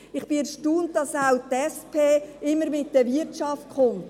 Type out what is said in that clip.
Ich bin erstaunt, dass auch die SP immer mit der Wirtschaft kommt.